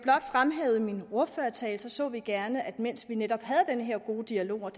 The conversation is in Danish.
fremhævede i min ordførertale så vi gerne at man mens vi netop havde den her gode dialog og